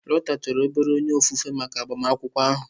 Lota chọrọ obere onye ofufe maka agbamakwụkwọ ahụ.